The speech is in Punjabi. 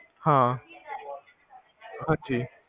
ਹਾਂਜੀ ਹਾਂ